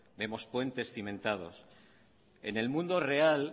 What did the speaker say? en el mundo real